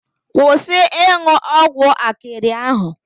Kwusi ịnwụ ọgwụ akịrị ahụ.